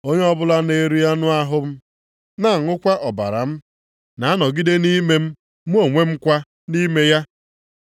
Onye ọbụla na-eri anụ ahụ m na-aṅụkwa ọbara m na-anọgide nʼime m mụ onwe m kwa nʼime ya.